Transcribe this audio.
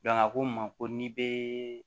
a ko n ma ko n'i bɛ